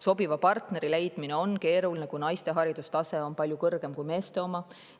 Sobiva partneri leidmine on keeruline, kui naiste haridustase on palju kõrgem kui meeste oma.